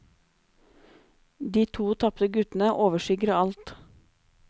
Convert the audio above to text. De to tapte guttene overskygger alt.